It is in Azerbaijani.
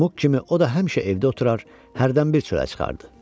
Muk kimi o da həmişə evdə oturur, hərdən bir çölə çıxardı.